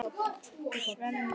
Svenni kinkar kolli.